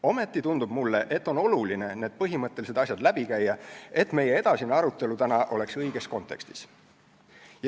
Ometi tundub mulle, et on oluline need põhimõttelised asjad läbi käia, et meie tänane edasine arutelu oleks õiges kontekstis.